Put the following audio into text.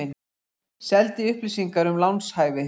Seldi upplýsingar um lánshæfi